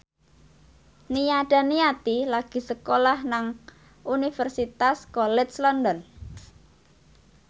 Nia Daniati lagi sekolah nang Universitas College London